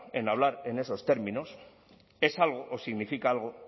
en hablar en esos términos es algo o significa algo